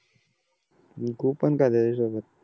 अन गु पण खा त्याचे ही सोबत